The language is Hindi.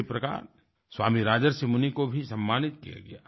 इसी प्रकार स्वामी राजर्षि मुनि को भी सम्मानित किया गया